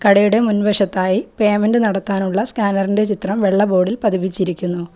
കടയുടെ മുൻവശത്തായി പേയ്മെൻ്റ് നടത്താനുള്ള സ്കാനറിൻ്റെ ചിത്രം വെള്ള ബോർഡിൽ പതിപ്പിച്ചിരിക്കുന്നു.